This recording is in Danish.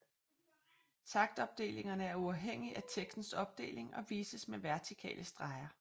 Taktopdelingerne er uafhængig af tekstens opdeling og vises med vertikale streger